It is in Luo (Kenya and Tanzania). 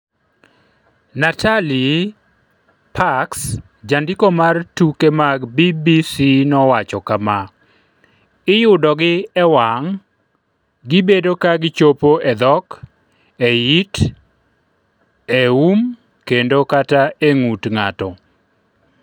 Natalie Pirks jandiko mar tuke mag BBC nowacho kama: “Iyudogi e wang’ wang’, gibedo ka gichopo e dhok, e it, e um kendo kata e ng’ut ng’ato.”